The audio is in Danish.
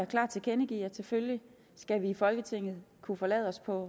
klart tilkendegive at selvfølgelig skal vi i folketinget kunne forlade os på